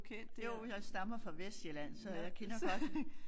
Jo jeg stammer fra Vestsjælland så jeg kender godt